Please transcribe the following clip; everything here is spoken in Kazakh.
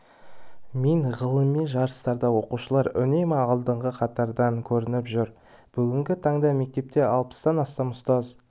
мен ғылыми жарыстарда оқушылар үнемі алдыңғы қатардан көрініп жүр бүгінгі таңда мектепте алпыстан астам ұстаз